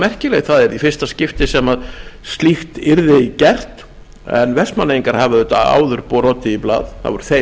merkilegt það er í fyrsta skipti sem slíkt yrði gert en vestmannaeyingar hafa auðvitað áður brotið í blað það voru þeir